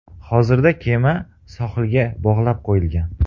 Hozirda kema sohilga bog‘lab qo‘yilgan.